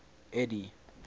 eddie